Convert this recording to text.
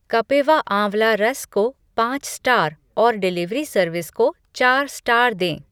कपिवा आँवला रस को पाँच स्टार और डिलीवरी सर्विस को चार स्टार दें।